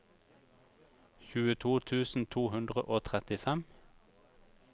tjueto tusen to hundre og trettifem